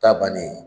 Ta bannen